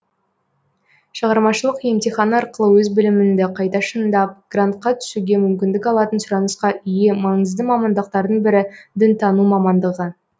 шығармашылық емтихан арқылы өз біліміңді қайта шыңдап грантқа түсуге мүмкіндік алатын сұранысқа ие маңызды мамандықтардың бірі дінтану мамандығы